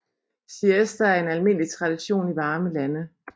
Siesta er en almindelig tradition i varme lande